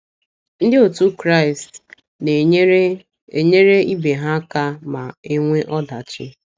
Ndị òtù Kraịst na - enyere - enyere ibe ha aka ma e nwee ọdachi